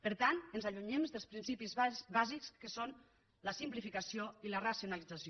per tant ens allunyem dels principis bàsics que són la simplificació i la racionalització